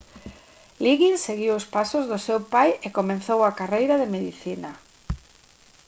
liggins seguiu os pasos do seu pai e comezou a carreira de medicina